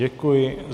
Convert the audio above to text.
Děkuji.